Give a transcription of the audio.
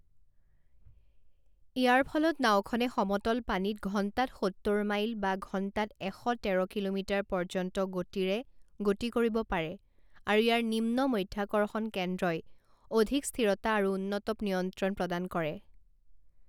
ইয়াৰ ফলত নাওখনে সমতল পানীত ঘণ্টাত সত্তৰ মাইল বা ঘণ্টাত এশ তেৰ কিলোমিটাৰ পৰ্য্যন্ত গতিৰে গতি কৰিব পাৰে আৰু ইয়াৰ নিম্ন মাধ্যাকৰ্ষণ কেন্দ্ৰই অধিক স্থিৰতা আৰু উন্নত নিয়ন্ত্ৰণ প্ৰদান কৰে।